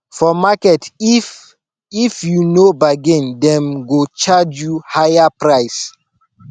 for market if if you no bargain dem go charge you higher price